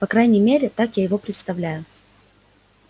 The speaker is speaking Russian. по крайней мере так я его представляю